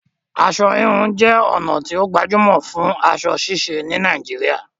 Aṣọ híhun jé ònà tí o gbajúmò fún aso ṣíse ní Naijiria